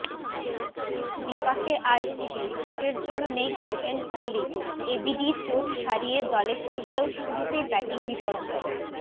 বিপাকে আরসিবি চোটের জন্য নেই ক্যাপ্টেন কোহলি এবিডি চোট সারিয়ে দলে ফিরলেও শুরুতেই ব্যাটিং বিপর্যয়